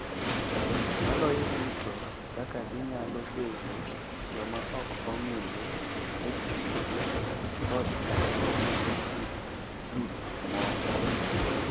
Maloyo duto, kaka ginyalo bedo joma ok ong’ere e timbegi kod kaka gineno gik moko.